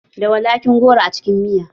Da walaƙi goro a cikin miya?